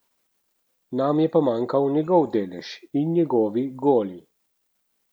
Nam je pa manjkal njegov delež in njegovi goli.